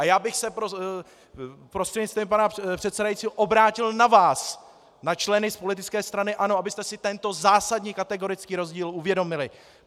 A já bych se prostřednictvím pana předsedajícího obrátil na vás, na členy z politické strany ANO, abyste si tento zásadní kategorický rozdíl uvědomili.